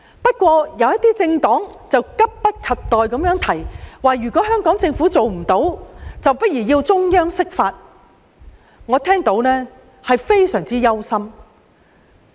不過，有些政黨卻急不及待地提出如香港政府做不到，大可提請中央釋法，我聽罷甚感憂心。